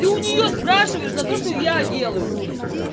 ты у нее спрашиваешь за то что я делаю блять